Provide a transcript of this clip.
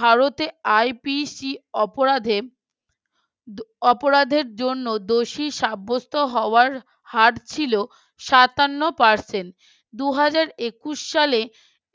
ভারতে IPC অপরাধে অপরাধের জন্য দোষী সাব্যস্ত হওয়ার হার ছিল সাতান্ন Percent দুই হাজার একুশ সালে